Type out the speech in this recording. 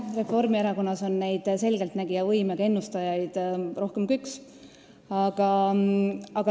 Reformierakonnas on selgeltnägijavõimega ennustajaid rohkem kui üks.